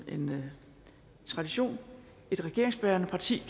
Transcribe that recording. en tradition regeringsbærende parti